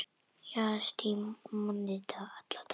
Jagast í manni alla daga.